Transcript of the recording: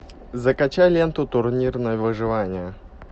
закачай ленту турнир на выживание